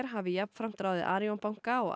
hafi jafnframt ráðið Arion banka og